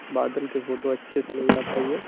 बादल के फोटो अच्छे से नई आ पाई है।